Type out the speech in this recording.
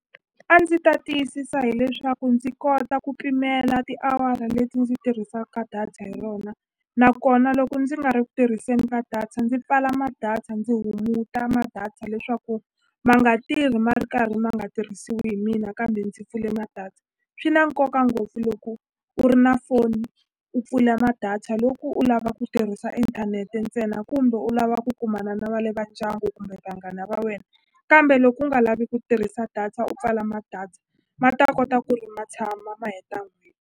A ndzi ta tiyisisa hileswaku ndzi kota ku pimela tiawara leti ndzi tirhisaka data hi rona nakona loko ndzi nga ri ku tirhiseni ka data ndzi pfala ma-data ndzi hunguta ma-data leswaku ma nga tirhi ma ri karhi ma nga tirhisiwi hi mina kambe ndzi pfule ma-data swi na nkoka ngopfu loko u ri na foni u pfula ma-data loko u lava ku tirhisa inthanete ntsena kumbe u lava ku kumana na va le ka ndyangu kumbe vanghana va wena kambe loko u nga lavi ku tirhisa data u pfala ma-data ma ta kota ku ri ma tshama ma heta n'hweti.